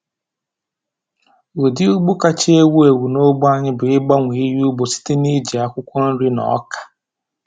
Ụdị ugbo kacha ewu ewu n’ógbè anyị bụ ịgbanwe ihe ugbo site n’iji akwụkwọ nri na ọka.